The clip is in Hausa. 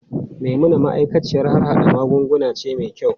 Maimuna ma'aikaciyar harhada magunguna ce mai kyau.